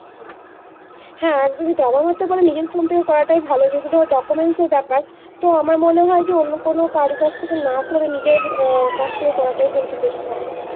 হ্যাঁ একদমই তাই। আমার মতে বলে নিজের phone থেকে করা ভালো যেহেতু documents এর ব্যাপার। তো আমার মনে হয় যে অন্য কোনো কারো কাছ থেকে না করে নিজের আহ কাছ থেকে করাটাই কিন্তু বেশি ভালো।